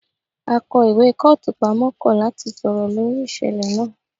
Akó ìwé kọ́ọ̀tù pamọ́ kọ̀ láti sọ̀rọ̀ lórí ìṣẹ̀lẹ̀ náà